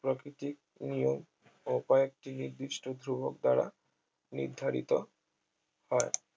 প্রাকৃতিক নিয়ম ও কয়েকটি নির্দিষ্ট ধ্রুবক দ্বারা নির্ধারিত হয়